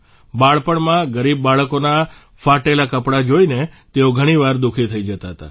બાળપણમાં ગરીબ બાળકોના ફાટેલા કપડાં જોઇને તેઓ ઘણીવાર દુઃખી થઇ જતા હતા